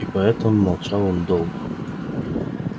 и поэтому молчал он долго